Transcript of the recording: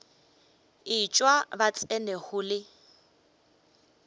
etšwa ba tsena go le